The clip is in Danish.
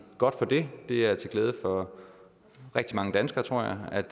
godt for det det er til glæde for rigtig mange danskere tror jeg at